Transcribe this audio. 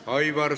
Aitäh!